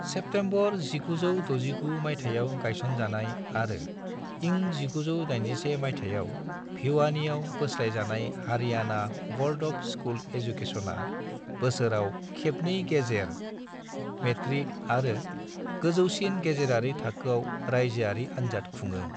September 1969 मायथाइयाव गायसनजानाय आरो इं 1981 माइथायाव भिवानीयाव बोस्लायजानाय हारियाणा ब'र्ड अफ स्कुल एजुकेशना बोसोराव खेबनै गेजेर, मेट्रिक आरो गोजौसिन गेजेरारि थाखोआव रायजोआरि आनजाद खुङो।